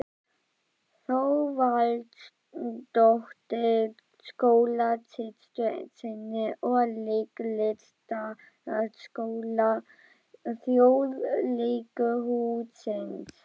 Þorvaldsdóttur, skólasystur sinni úr Leiklistarskóla Þjóðleikhússins.